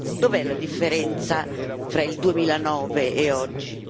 Dov'è la differenza fra il 2009 e oggi?